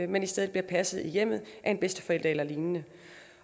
men i stedet bliver passet i hjemmet af en bedsteforælder eller lignende